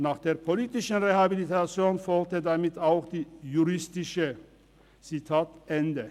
Nach der politischen Rehabilitation folgte damit auch [die] juristische […]»– Zitat Ende.